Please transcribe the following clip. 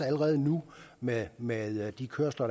allerede nu med med de kørsler